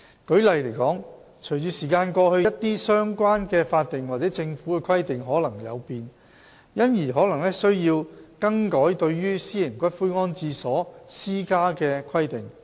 舉例而言，隨着時間過去，一些相關的法定或政府規定可能有變，因而可能需要更改對於私營骨灰安置所施加的規定。